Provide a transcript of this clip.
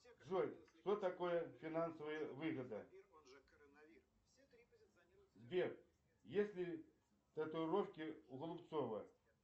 джой что такое финансовая выгода сбер есть ли татуировки у голубцова